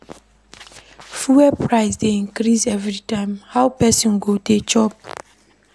Fuel price dey increase everytime, how pesin go dey cope?